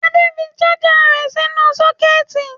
Adé fi ṣáájà rẹ̀ nínú sọ́kẹ́tì.